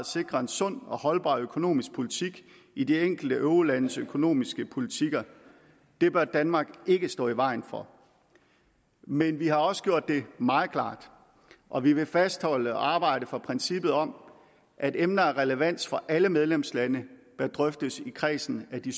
sikre en sund og holdbar økonomisk politik i de enkelte eurolandes økonomiske politikker det bør danmark ikke stå i vejen for men vi har også gjort det meget klart og vi vil fastholde og arbejde for princippet om at emner af relevans for alle medlemslande bør drøftes i kredsen af de